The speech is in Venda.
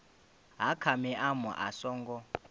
ha kha maimo a songo